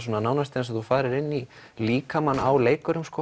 nánast eins og þú farir í líkamann á leikurum